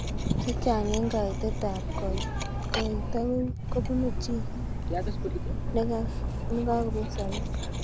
Chechang eng kakoitet ab koito kobuni chi nekakobet sabet.